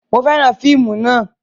Mo fẹ́ràn fíìmù náà